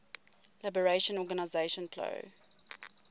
liberation organization plo